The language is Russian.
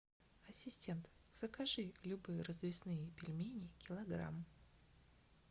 ассистент закажи любые развесные пельмени килограмм